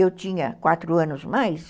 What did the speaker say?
Eu tinha quatro anos a mais.